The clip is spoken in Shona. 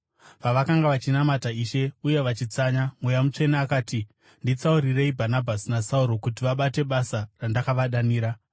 Pavakanga vachinamata Ishe uye vachitsanya, Mweya Mutsvene akati, “Nditsaurirei Bhanabhasi naSauro kuti vabate basa randakavadanira.”